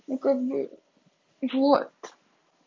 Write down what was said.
ну как бы вот